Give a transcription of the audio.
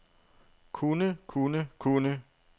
kunne kunne kunne